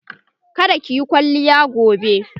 Ka da ki yi kwalliya gobe!